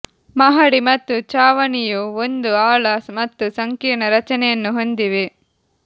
ಮಹಡಿ ಮತ್ತು ಚಾವಣಿಯು ಒಂದು ಆಳ ಮತ್ತು ಸಂಕೀರ್ಣ ರಚನೆಯನ್ನು ಹೊಂದಿವೆ